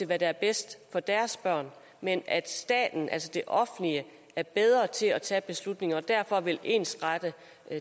hvad der er bedst for deres børn men at staten altså det offentlige er bedre til at tage beslutninger og derfor vil ensrette